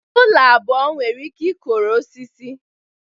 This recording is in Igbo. Ụlọ abụọ nwere ike ịkọrọ osisi